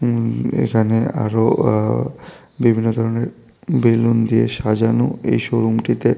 উম এখানে আরও আ বিভিন্ন ধরনের বেলুন দিয়ে সাজানো এই শোরুম টিতে --